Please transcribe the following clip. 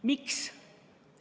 Miks?